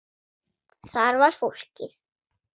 Þar er fólkið.